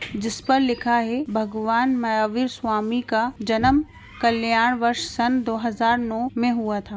जिस पर लिखा है भगवान मयावीर स्वामी का जन्म कल्याण वर्ष सन् दो हज़ार नौ में हुआ था।